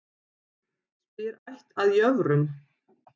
Spyr ætt að jöfrum.